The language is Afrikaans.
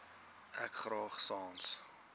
ek graag sans